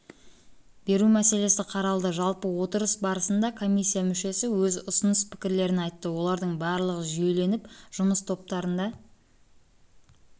мәселесі қаралды жалпы отырыс барысында комиссия мүшесі өз ұсыныс-пікірлерін айтты олардың барлығы жүйеленіп жұмыс топтарында